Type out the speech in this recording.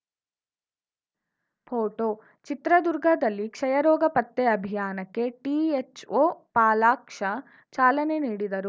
photo ಚಿತ್ರದುರ್ಗದಲ್ಲಿ ಕ್ಷಯ ರೋಗ ಪತ್ತೆ ಅಭೀಯಾನಕ್ಕೆ ಟಿಎಚ್‌ಒ ಪಾಲಾಕ್ಷ ಚಾಲನೆ ನೀಡಿದರು